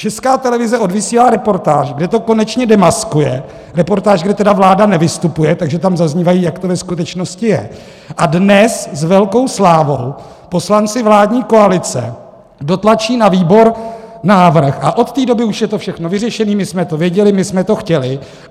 Česká televize odvysílá reportáž, kde to konečně demaskuje, reportáž, kde tedy vláda nevystupuje, takže tam zaznívá, jak to ve skutečnosti je, a dnes s velkou slávou poslanci vládní koalice dotlačí na výbor návrh, a od té doby už je to všechno vyřešené, my jsme to věděli, my jsme to chtěli.